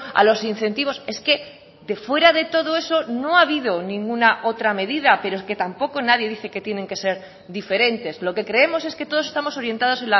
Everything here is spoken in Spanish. a los incentivos es que de fuera de todo eso no ha habido ninguna otra medida pero es que tampoco nadie dice que tienen que ser diferentes lo que creemos es que todos estamos orientados